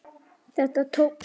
Þetta tókst.